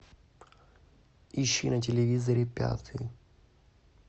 ищи на телевизоре пятый